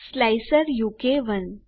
slicer ઉ કે 1